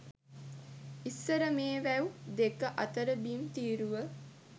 ඉස්සර මේ වැව් දෙක අතර බිම් තීරුව